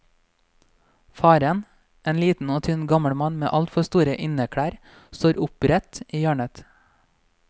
Faren, en liten og tynn gammel mann med altfor store inneklær, står opprett i hjørnet.